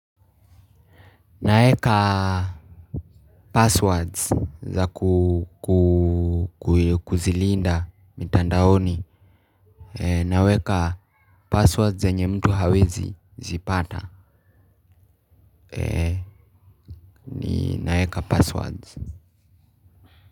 Naeka passwords za kuzilinda mitandaoni. Naweka passwords zenye mtu hawezi zipata. Naweka passwords.